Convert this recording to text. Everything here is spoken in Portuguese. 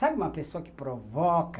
Sabe uma pessoa que provoca,